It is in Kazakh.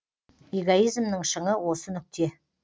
эгоизмнің шыңы осы нүкте